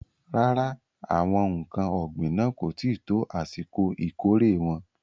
Rárá, àwọn ǹkan ògbìn náà kò tí ì tó àsìkò ìkórè wọn.